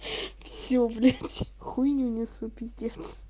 все блять хуйню несу пиздец